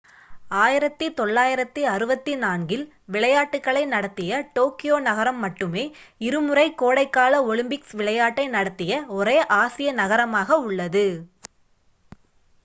1964ல் விளையாட்டுகளை நடத்திய டோக்கியோ நகரம் மட்டுமே இருமுறை கோடைகால ஒலிம்பிக்ஸ் விளையாட்டை நடத்திய ஒரே ஆசிய நகரமாக உள்ளது